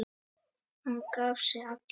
Hann gaf sig allan.